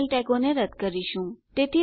તેથી રજીસ્ટ્રેશન ફોર્મમાં અમુક સલામતી રહેશે